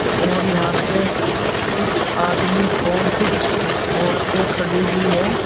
और यहां पे कुछ आदमी और कुछ औरतें खड़ी हुई हैं।